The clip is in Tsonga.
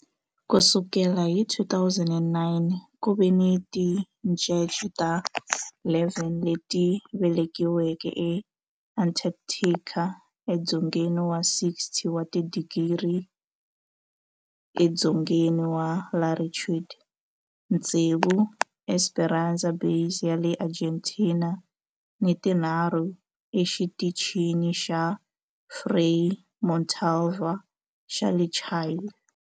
Ku sukela hi 2009, ku ve ni tincece ta 11 leti velekiweke eAntarctica, edzongeni wa 60 wa tidigri edzongeni wa latitude, tsevu eEsperanza Base ya le Argentina ni tinharhu eXitichini xa Frei Montalva xa le Chile.